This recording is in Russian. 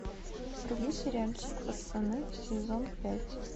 вруби сериальчик пацаны сезон пять